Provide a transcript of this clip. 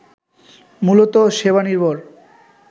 মূলত সেবানির্ভর